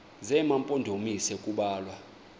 zema mpondomise kubalwa